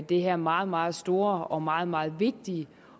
det her meget meget store og meget meget vigtige